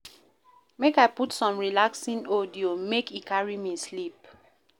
Make I put some relaxing audio, make e carry me sleep.